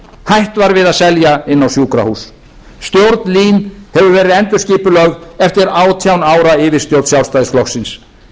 var við að selja inn á sjúkrahús stjórn lín hefur verið endurskipulögð eftir átján ára yfirstjórn sjálfstæðisflokksins kynjuð